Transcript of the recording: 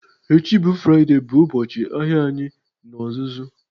Echi bụ Fraịde bụ ụbọchị ahịa anyị n'ozuzu